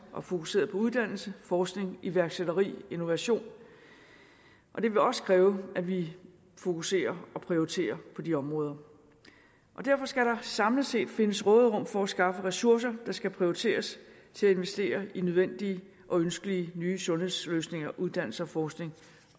og fokuseret på uddannelse forskning iværksætteri og innovation det vil også kræve at vi fokuserer og prioriterer de områder derfor skal der samlet set findes råderum for at skaffe ressourcer der skal prioriteres til at investere i nødvendige og ønskelige nye sundhedsløsninger uddannelse forskning